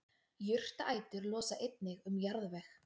jurtaætur losa einnig um jarðveg